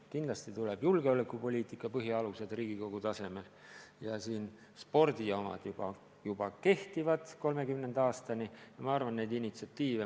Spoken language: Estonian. Kindlasti tulevad julgeolekupoliitika põhialused Riigikogu tasemel ja spordi omad juba kehtivad 2030. aastani.